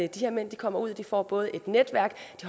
her mænd kommer ud de får både et netværk